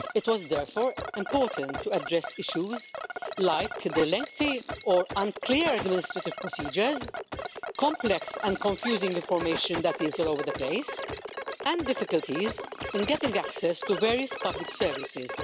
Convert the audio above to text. It was therefore important to address issues such as lengthy or unclear administrative procedures, complex and confusing information which is all over the place and difficulties in getting access to various public services.